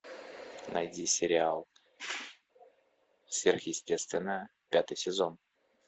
найди сериал сверхъестественное пятый сезон